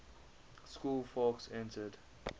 school fawkes entered